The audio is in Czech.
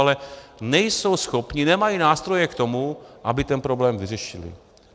Ale nejsou schopni, nemají nástroje k tomu, aby ten problém vyřešili.